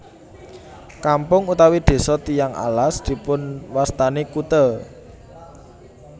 Kampung utawi desa Tiyang Alas dipunwastani kute